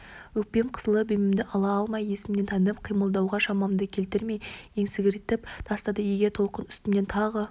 өкпем қысылып демімді ала алмай есімнен танып қимылдауға шамамды келтірмей есеңгіретіп тастады егер толқын үстімнен тағы